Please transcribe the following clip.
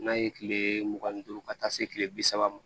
N'a ye kile mugan ni duuru ka taa se kile bi saba ma